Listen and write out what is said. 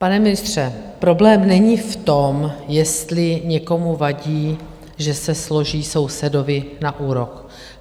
Pane ministře, problém není v tom, jestli někomu vadí, že se složí sousedovi na úrok.